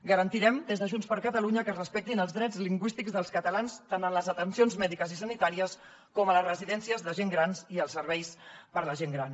garantirem des de junts per catalunya que es respectin els drets lingüístics dels catalans tant en les atencions mèdiques i sanitàries com a les residències de gent gran i als serveis per a la gent gran